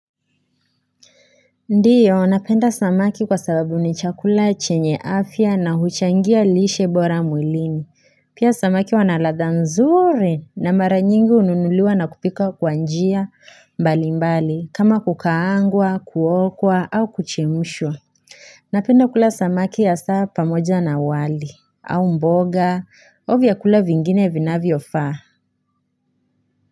Ndiyo napenda samaki kwa sababu ni chakula chenye afya na huchangia lishe bora mwilini. Pia samaki wana ladha nzuri, na mara nyingi hununuliwa na kupikwa kwa njia mbali mbali kama kukaangwa, kuokwa au kuchemshwa. Napenda kula samaki ya saa pamoja na wali, au mboga au vyakula vingine vinavyofaa.